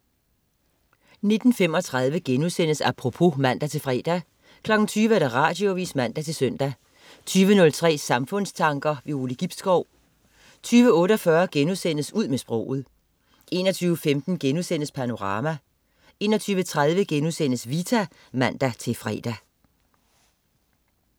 19.35 Apropos* (man-fre) 20.00 Radioavis (man-søn) 20.03 Samfundstanker. Ove Gibskov 20.48 Ud med sproget* 21.15 Panorama* 21.30 Vita* (man-fre)